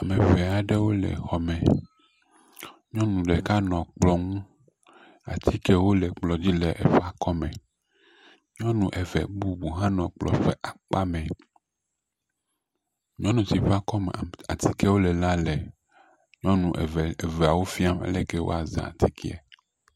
Ame ŋee aɖewo le xɔ me, nyɔnu ɖeka nɔ kplɔ ŋu, atikewo le kplɔ dzi le eƒe akɔme. Nyɔnu eve bubu hã nɔ kplɔ ƒe akpa mɛ, nyɔnu si ƒe akɔme atikewo le la le nyɔnu eveawo fiam ale yike woazã atikeɛ.